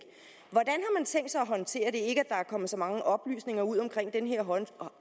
håndtere det ikke at er kommet så mange oplysninger ud om den her